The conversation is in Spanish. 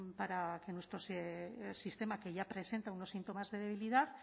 para que nuestro sistema que ya presenta unos síntomas de debilidad